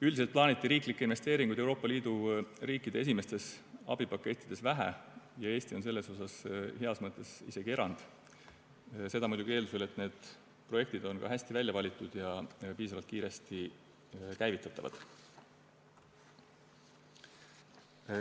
Üldiselt plaaniti riiklikke investeeringuid Euroopa Liidu riikide esimestes abipakettides vähe ja Eesti on heas mõttes isegi erand, seda muidugi eeldusel, et need projektid on hästi välja valitud ja piisavalt kiiresti käivitatavad.